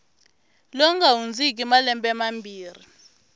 lowu nga hundziki malembe mambirhi